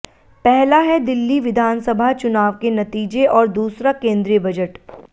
पहला है दिल्ली विधानसभा चुनाव के नतीजे और दूसरा केंद्रीय बजट